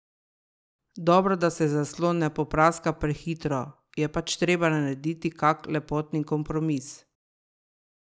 Dobro, da se zaslon ne popraska prehitro, je pač treba narediti kak lepotni kompromis.